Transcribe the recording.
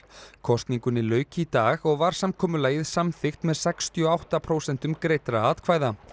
kosningunni lauk í dag og var samkomulagið samþykkt með sextíu og átta prósentum greiddra atkvæða